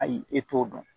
Ayi e t'o dɔn